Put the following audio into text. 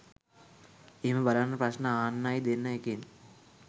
එහෙම බලන්න ප්‍රශ්න අහන්නයි දෙන එකෙන්